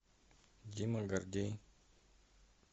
дима гордей